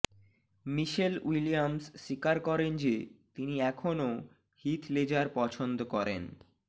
মিশেল Williams স্বীকার করেন যে তিনি এখনও হিথ লেজার পছন্দ করেন